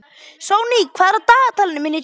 Sonný, hvað er á dagatalinu mínu í dag?